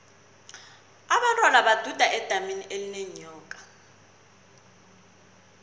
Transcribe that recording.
abentwana baduda edamini elinenyoka